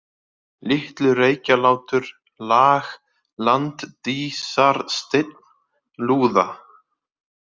Litlu-Reykjalátur, Lag, Landdísarsteinn, Lúða